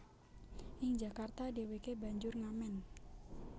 Ing Jakarta dheweke banjur ngamen